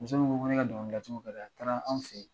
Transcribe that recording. Muso min ko ko ne ka dɔnkɛcogo ka di a ye a taara fo anw fɛ yen